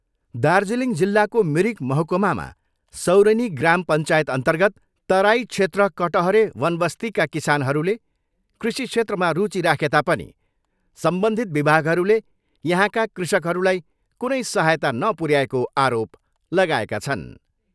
दार्जिलिङ जिल्लाको मिरिक महकुमामा सौरेनी ग्राम पञ्चायतअर्न्तगत तराई क्षेत्र कटहरे वनवस्तीका किसानहरूले कृषि क्षेत्रमा रुचि राखेता पनि सम्बन्धित विभागहरूले यहाँका कृषकहरूलाई कुनै सहायता नुपर्याएको आरोप लगाएका छन्।